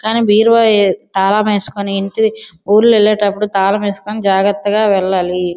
కానీ బీరువా తాళం వేసుకొని ఇల్లు ఊర్లు వేలేటప్పుడు తాళం వేసికొని జాగ్రత్తగా వెళ్ళాలి.